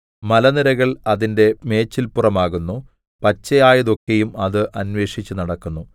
മലനിരകൾ അതിന്റെ മേച്ചല്പുറമാകുന്നു പച്ചയായതൊക്കെയും അത് അന്വേഷിച്ചു നടക്കുന്നു